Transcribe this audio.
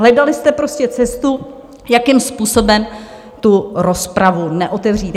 Hledali jste prostě cestu, jakým způsobem tu rozpravu neotevřít.